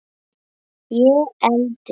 Ég eldist.